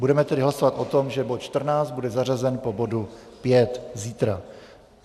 Budeme tedy hlasovat o tom, že bod 14 bude zařazen po bodu 5 zítra.